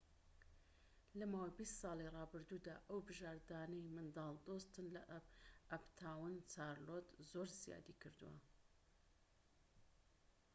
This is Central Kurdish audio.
لە ماوەی ٢٠ ساڵی ڕابردوودا، ئەو بژاردانەی منداڵ دۆستن لە ئەپتاون چارلۆت زۆر زیادی کردووە